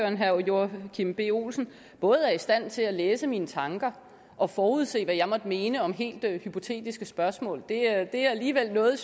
at herre joachim b olsen både er i stand til at læse mine tanker og forudse hvad jeg måtte mene om helt hypotetiske spørgsmål det er det er alligevel noget